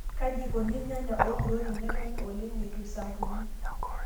Kaji eikoni irnyanya ookuto tenetoni oleng eitu isampuni.